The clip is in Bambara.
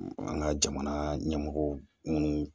An ka jamana ɲɛmɔgɔ minnu